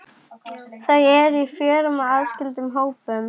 Jóhanna Margrét Gísladóttir: Og hvað hljópstu langt?